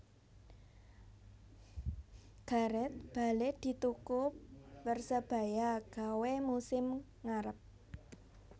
Gareth Bale dituku Persebaya gawe musim ngarep